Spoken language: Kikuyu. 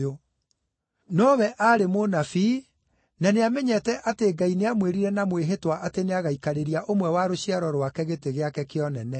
Nowe aarĩ mũnabii na nĩamenyete atĩ Ngai nĩamwĩrire na mwĩhĩtwa atĩ nĩagaikarĩria ũmwe wa rũciaro rwake gĩtĩ gĩake kĩa ũnene.